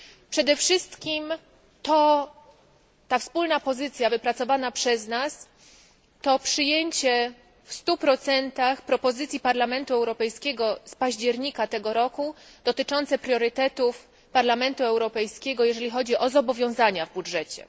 Przede wszystkim to wspólne stanowisko wypracowane przez nas, to przyjęcie w 100 propozycji Parlamentu Europejskiego z października tego roku dotyczących priorytetów Parlamentu Europejskiego, jeżeli chodzi o zobowiązania w budżecie.